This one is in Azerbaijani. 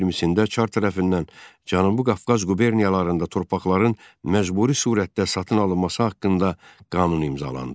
1912-ci ildə çar tərəfindən Cənubi Qafqaz quberniyalarında torpaqların məcburi surətdə satın alınması haqqında qanun imzalandı.